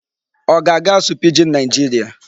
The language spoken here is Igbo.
Ọ ga-aga asụ Pidgin Nigeria?